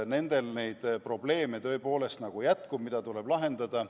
Nendel neid probleeme tõepoolest jätkub, mida tuleb lahendada.